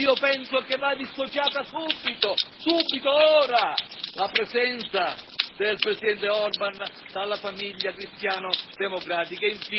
Io penso che vada dissociata subito, ora, la presenza del Presidente Orban dalla famiglia cristiano democratica.